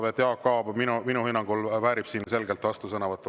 Nii et Jaak Aab minu hinnangul väärib selgelt vastusõnavõttu.